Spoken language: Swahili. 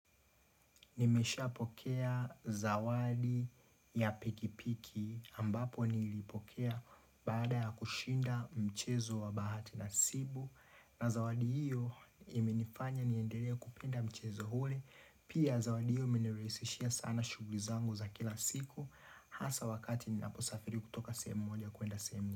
Nimeshapokea zawadi ya pikipiki ambapo nilipokea baada ya kushinda mchezo wa bahati nasibu. Na zawadi hiyo imenifanya niendelee kupenda mchezo ule. Pia zawadi hiyo imenirahisishia sana shughuli zangu za kila siku. Hasa wakati ninaposafiri kutoka sehemu moja kuenda sehemu nyingine.